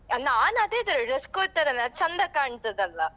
ಅಹ್ ನಾನ್ ಅದೇ ತರ dress code ತರನೇ ಅದು ಚಂದ ಕಾಣ್ತದಲ್ಲಾ?